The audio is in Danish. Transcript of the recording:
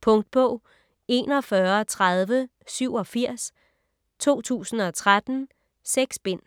Punktbog 413087 2013. 6 bind.